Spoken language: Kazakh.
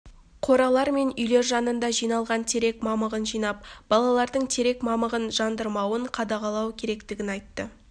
қоралар мен үйлер жанында жиналған терек мамығын жинап балалардың терек мамығын жандырмауын қадағалау керектігін айтты